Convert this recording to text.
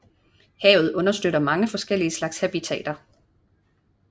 Havet understøtter mange forskellige slags habitater